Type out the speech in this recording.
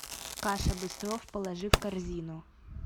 каша быстров положи в корзину